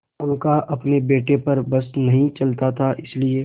उनका अपने बेटे पर बस नहीं चलता था इसीलिए